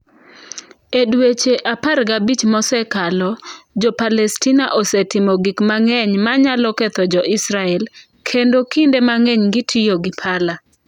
E dweche 15 mosekalo, Jo-Palestina osetimo gik mang’eny ma nyalo ketho Jo-Israel, kendo kinde mang’eny gitiyo gi pala.